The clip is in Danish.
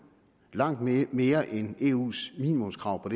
langt mere mere end eus minimumskrav